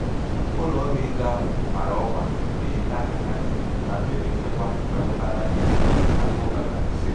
ụlọ ọrụ ego ahụ mara ọkwa iji doo aka na nti na mmebi nchekwa emetụtala ihe dị ka akaụntụ nari ise.